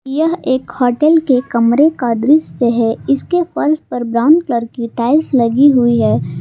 यह एक होटल के कमरे का दृश्य है इसके फर्श पर ब्राउन कलर की टाइल्स लगी हुई है।